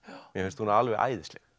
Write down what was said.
mér finnst hún alveg æðisleg